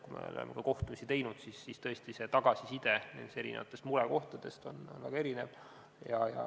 Kui me oleme ka kohtumisi teinud, siis tõesti see tagasiside nendes murekohtades on väga erinev.